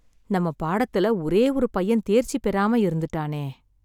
நம்ம பாடத்துல ஒரே ஒரு பையன் தேர்ச்சி பெறாம இருந்துட்டானே.